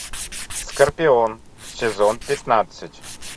скорпион сезон пятнадцать